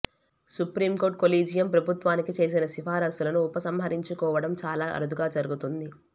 supreme court collegium ప్రభుత్వానికి చేసిన సిఫారసులను ఉపసంహరించుకోవడం చాలా అరుదుగా జరుగుతుంది